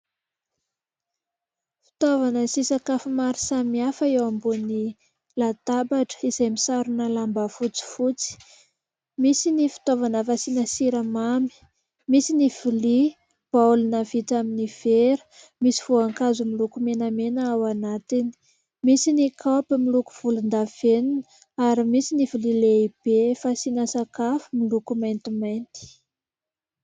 Fitaovana sy sakafo maro samihafa eo ambonin'ny latabatra izay misarona lamba fotsifotsy. Misy ny fitaovana fasiana siramamy, misy ny vilia baolina vita amin'ny vera. Misy voankazo miloko menamena ao anatiny, misy ny kaopy miloko volon-davenona, ary misy ny vilia lehibe fasiana sakafo miloko maintimainty.